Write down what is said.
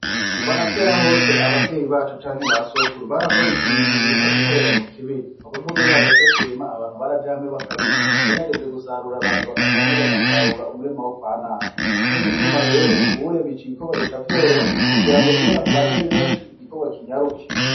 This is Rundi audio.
Kuva na kera hose abavyeyi bacu canke ba sokura barakora iki ibintu bita gukorera mu kibiri ni ko bvuga iyo hageze kurima abantu baraja hamwe bakarima canke hageze gusarura abantu bakaja hamwe bagasarura umurima wo kwa naka ni co gituma rero ubuye bica ibikorwa bica vyoroha kugira ngo iyo abantu baja ari benshi igikorwa kinyaruke.